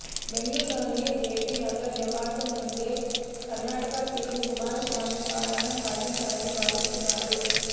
బెంగుళూరులోని JP Nagar నివాసం నుండే Karnataka CM Kumaraswamy పాలన సాగించాలని భావిస్తున్నారు